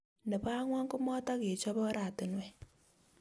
nebo angwan ko matogechop orantiwek